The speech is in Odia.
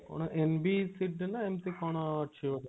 କଣ NBCD ନା ଏମିତି କଣ ଅଛି ଗୋଟେ?